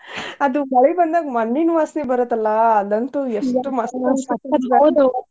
ಆದ್ ಮಳಿ ಬಂದಾಗ ಮಣ್ಣಿನ ವಾಸನಿ ಬರತ್ತಲಾ ಆಗಂತು ಎಷ್ಟ್ ಮಸ್ತ್